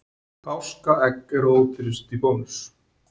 Páskaegg ódýrust í Bónus